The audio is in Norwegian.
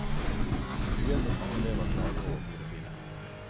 Vi vet at mange elever klager over hodepine.